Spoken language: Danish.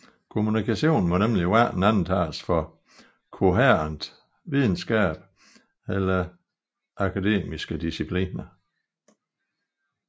Kommunikation må nemlig hverken antages for kohærent videnskab eller akademiske discipliner